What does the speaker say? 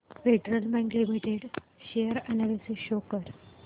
federal Bank Limited share analysis show कर